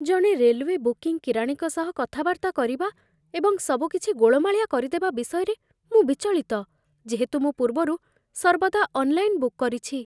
ଜଣେ railway booking କିରାଣୀଙ୍କ ସହ କଥାବାର୍ତ୍ତା କରିବା ଏବଂ ସବୁକିଛି ଗୋଳମାଳିଆ କରିଦେବା ବିଷୟରେ ମୁଁ ବିଚଳିତ, ଯେହେତୁ ମୁଁ ପୂର୍ବରୁ ସର୍ବଦା ଅନ୍‌ଲାଇନ୍ ବୁକ୍ କରିଛି